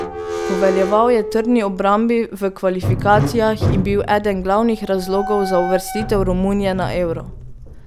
Poveljeval je trdni obrambi v kvalifikacijah in bil eden glavnih razlogov za uvrstitev Romunije na Euro.